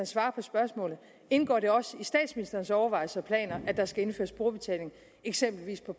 svare på spørgsmålet indgår det også i statsministerens overvejelser og planer at der skal indføres brugerbetaling eksempelvis på